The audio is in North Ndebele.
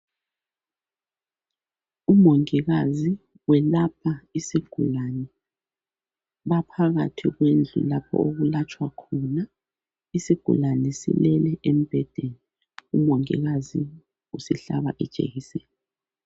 Umongikazi welapha isigulane baphakathi kwendlu okwelatshwa khona isigulane silele embhedeni umongikazi usihlaba ijekiseni